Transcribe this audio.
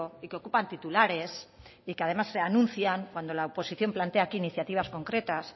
y que ocupan titulares y que además se anuncian cuando la oposición plantea aquí iniciativas concretas